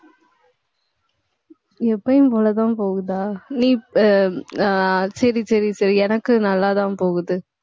எப்பவும் போலதான், போகுதா நீ அஹ் ஆஹ் சரி, சரி, சரி எனக்கு நல்லாதான் போகுது